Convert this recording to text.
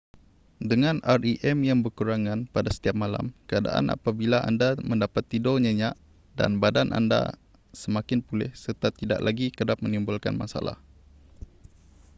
dengan rem yang berkurangan pada setiap malam keadaan apabila anda mendapat tidur nyenyak dan badan anda semakin pulih serta tidak lagi kerap menimbulkan masalah